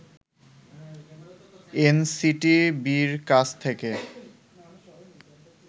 এনসিটিবিরকাছ থেকে